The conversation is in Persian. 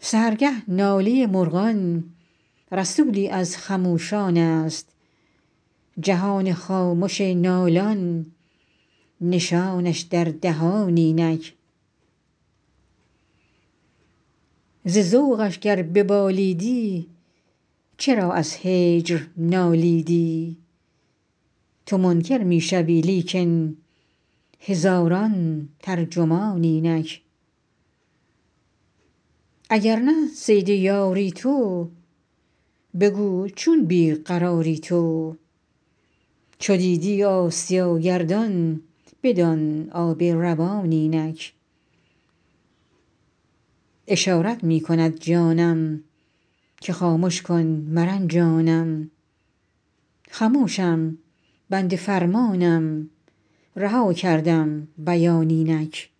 سحرگه ناله مرغان رسولی از خموشانست جهان خامش نالان نشانش در دهان اینک ز ذوقش گر ببالیدی چرا از هجر نالیدی تو منکر می شوی لیکن هزاران ترجمان اینک اگر نه صید یاری تو بگو چون بی قراری تو چو دیدی آسیا گردان بدان آب روان اینک اشارت می کند جانم که خامش که مرنجانم خموشم بنده فرمانم رها کردم بیان اینک